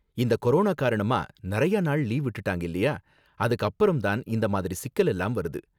இந்த கொரோனா காரணமா நறையா நாள் லீவு விட்டுட்டாங்க இல்லையா, அதுக்கு அப்புறம் தான் இந்த மாதிரி சிக்கல் எல்லாம் வருது